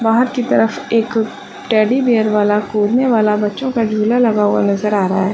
बाहर की तरफ एक टेडी बियर वाला कूदने वाला बच्चो का झूला लगा हुआ नज़र आ रहा है।